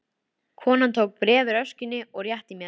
Konan tók bréf úr öskjunni og rétti mér.